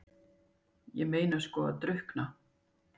Ég meina sko að drukkna?